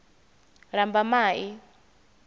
lambamai